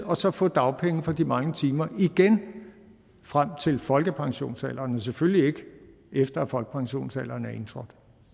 og så få dagpenge for de manglende timer frem til folkepensionsalderen men selvfølgelig ikke efter folkepensionsalderen er indtrådt